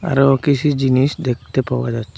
আরো কিছু জিনিস দেখতে পাওয়া যাচ্ছে।